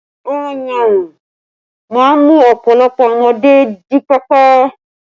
Ọyàn máa ń mú ọpọlọ ọmọdé jí pépé